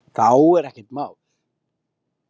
Þá er ekkert mál.